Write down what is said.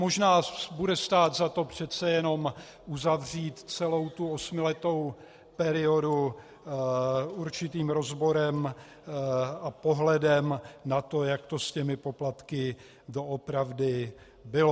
Možná bude stát za to přece jenom uzavřít celou tu osmiletou periodu určitým rozborem a pohledem na to, jak to s těmi poplatky doopravdy bylo.